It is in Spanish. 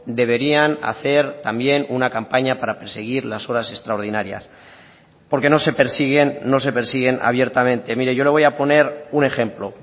deberían hacer también una campaña para perseguir las horas extraordinarias porque no se persiguen no se persiguen abiertamente mire yo le voy a poner un ejemplo